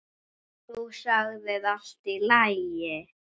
Þú sagðir: Allt í lagi.